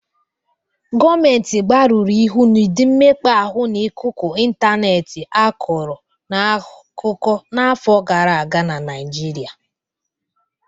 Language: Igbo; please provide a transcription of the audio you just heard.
Gọmentị gbarụrụ ịhụ n'ụdị mmekpa ahụ n'ikuku ịntaneetị akụrọ n'akụkọ n'afọ gara aga na Naịjịrịa.